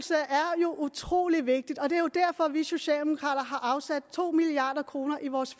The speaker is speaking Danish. er utrolig vigtigt og det er jo derfor at vi socialdemokrater har afsat to milliard kroner i vores